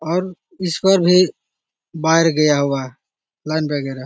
और ईश्वर भी बाहर गया हुआ लाइन वगेरा |